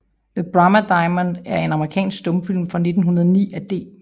The Brahma Diamond er en amerikansk stumfilm fra 1909 af D